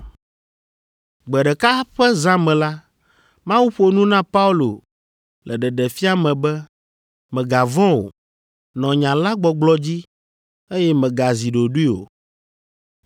Gbe ɖeka ƒe zã me la, Mawu ƒo nu na Paulo le ɖeɖefia me be, “Mègavɔ̃ o; nɔ nya la gbɔgblɔ dzi, eye mègazi ɖoɖoe o,